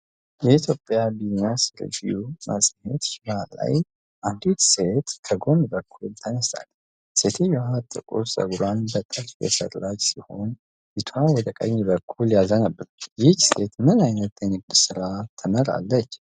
"የኢትዮጵያ ቢዝነስ ሪቪው" መጽሔት ሽፋን ላይ አንዲት ሴት ከጎን በኩል ተነስታለች። ሴትየዋ ጥቁር ፀጉሯን በጥልፍ የሠራች ሲሆን ፊትዋ ወደ ቀኝ በኩል ያዘነብላል። ይህች ሴት ምን ዓይነት የንግድ ሥራ ትመራለች?